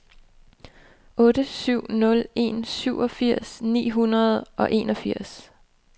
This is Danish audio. otte syv nul en syvogfirs ni hundrede og enogfirs